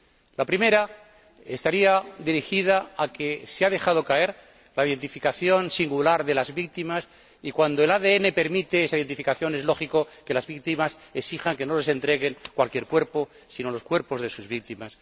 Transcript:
En primer lugar, se ha dejado caer la identificación singular de las víctimas cuando el ADN permite esa identificación, es lógico que las familias exijan que no les entreguen cualquier cuerpo sino los cuerpos de sus víctimas.